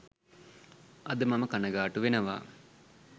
අද මම කණගාටු වෙනවා